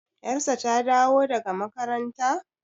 yarsa ta dawo daga makaranta?